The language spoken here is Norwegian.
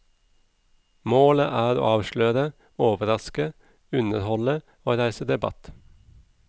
Målet er å avsløre, overraske, underholde og reise debatt.